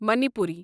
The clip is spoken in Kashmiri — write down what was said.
مانیپوری